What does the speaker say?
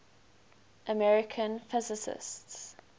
american physicists